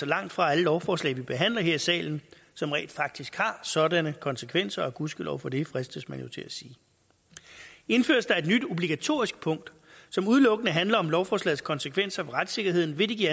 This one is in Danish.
langtfra alle lovforslag vi behandler her i salen som rent faktisk har sådanne konsekvenser og gudskelov for det fristes man jo til at sige indføres der et nyt obligatorisk punkt som udelukkende handler om lovforslagets konsekvenser for retssikkerheden vil det give